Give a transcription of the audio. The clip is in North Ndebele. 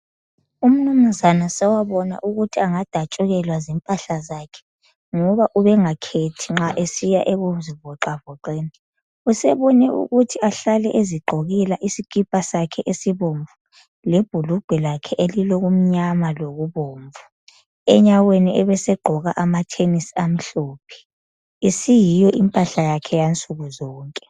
Umnumzana sowabona ukuthi angadatshukelwa zimpahla zakhe ngoba ubengakhethi nxa esiya ekuzivoxavoxeni usebone ukuthi ahlale ezigqokela isikipa sakhe esibomvu lebhulugwa lakhe elilokumnyama lokubomvu, enyaweni ebesegqoka amathenisi amhlophe. Isiyiyo impahla yakhe yansuku zonke.